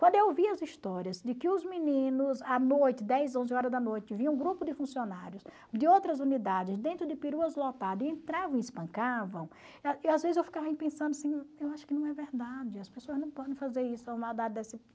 Quando eu ouvia as histórias de que os meninos, à noite, dez, onze horas da noite, viam um grupo de funcionários de outras unidades dentro de peruas lotadas e entravam e espancavam, às vezes eu ficava pensando assim, eu acho que não é verdade, as pessoas não podem fazer isso